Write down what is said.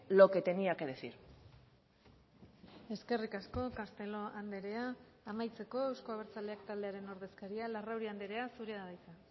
lo que tenía que decir eskerrik asko castelo andrea amaitzeko euzko abertzaleak taldearen ordezkaria larrauri andrea zurea da hitza